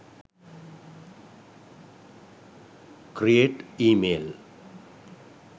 create e mail